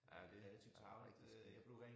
Ja det ja rigtig skidt